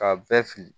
K'a bɛɛ fili